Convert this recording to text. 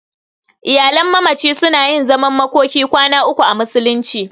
Iyalan mamaci suna yin zaman makokin kwana uku a musulunci.